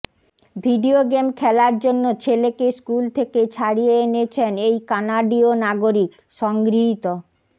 video game খেলার জন্য ছেলেকে স্কুল থেকে ছাড়িয়ে এনেছেন এই কানাডীয় নাগরিক সংগৃহীত